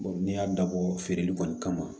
n'i y'a dabɔ o feereli kɔni kama